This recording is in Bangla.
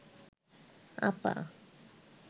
আপা